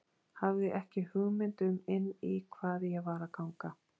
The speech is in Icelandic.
Hafði ekki hugmynd um inn í hvað ég var að ganga.